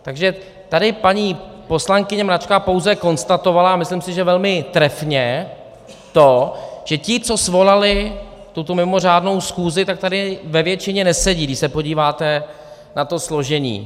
Takže tady paní poslankyně Mračková pouze konstatovala, a myslím si, že velmi trefně, to, že ti, co svolali tuto mimořádnou schůzi, tak tady ve většině nesedí, když se podíváte na to složení.